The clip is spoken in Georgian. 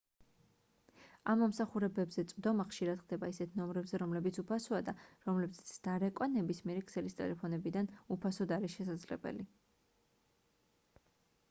ამ მომსახურებებზე წვდომა ხშირად ხდება ისეთ ნომრებზე რომლებიც უფასოა და რომლებზეც დარეკვა ნებისმიერი ქსელის ტელეფონებიდან უფასოდ არის შესაძლებელი